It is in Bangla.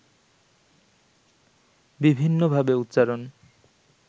বিভিন্নভাবে উচ্চারণ